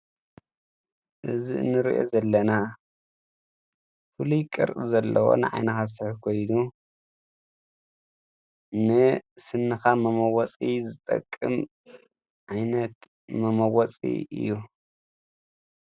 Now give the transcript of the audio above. እዝ እንርእየ ዘለና ፍሉይ ቅርፂ ዘለዎን ዓይነኻሠሕ ጐይኑ ን ስንኻ መመወፂ ዝጠቅም ዓይነት መመወፂ እዩ።